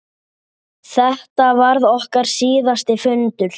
Þetta varð okkar síðasti fundur.